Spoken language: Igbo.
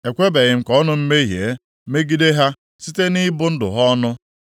ekwebeghị m ka ọnụ m mehie megide ha site nʼịbụ ndụ ha ọnụ.